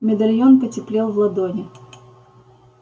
медальон потеплел в ладони